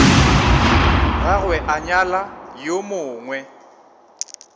gagwe a nyala yo mongwe